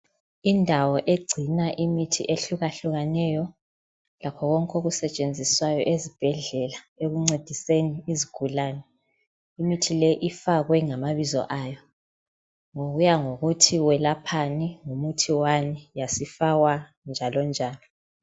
Indawo egcina imithi ehluka hlukeneyo lakho konke okusetshenziswayo esibhedlela ekuncediseni izigulane imithi leyi ifakwe ngamabizo ayo kuyangokuthi welaphani ngumuthi wani yasifakwa njalo njalo